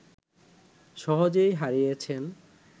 সহজেই হারিয়েছেন